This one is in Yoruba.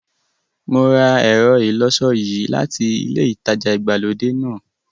Mo ra ẹ̀rọ ìlọṣọ yìí láti ilẹ ìtajà ìgbàlódé náà.